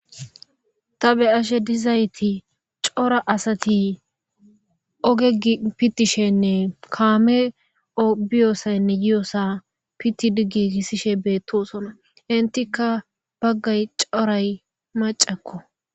Ta be ashe dizayti cora asati ogei pittishenne kaame biyoosaynne yi7osa pitti diggi kissishe beettosona intika baggay coray macakko.